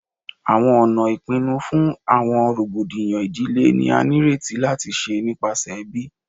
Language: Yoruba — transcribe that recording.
Awọn ọna ipinnu fun awọn rogbodiyan idile ni a nireti lati ṣe nipasẹ ẹbi